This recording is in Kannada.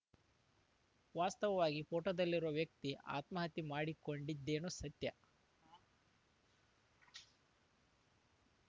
ವಾಸ್ತವವಾಗಿ ಪೋಟೋದಲ್ಲಿರುವ ವ್ಯಕ್ತಿ ಆತ್ಮಹತ್ಯೆ ಮಾಡಿಕೊಂಡಿದ್ದೇನೋ ಸತ್ಯ